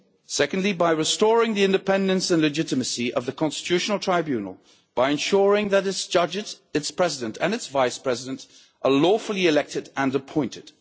Secondly, by restoring the independence and legitimacy of the Constitutional Tribunal, by ensuring that its judges, its President and its Vice President are lawfully elected and appointed.